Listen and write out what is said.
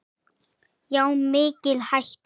Já, mikil hætta.